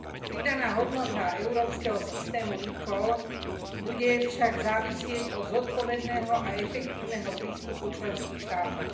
Pridaná hodnota európskeho systému eCall bude však závisieť od zodpovedného a efektívneho prístupu členských štátov.